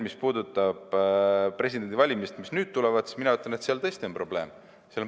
Presidendivalimiste kohta, mis nüüd tulevad, ma ütlen, et seal tõesti on probleem.